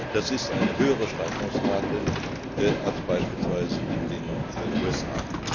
Das ist eine höhere Steigerungsrate als beispielsweise in den USA.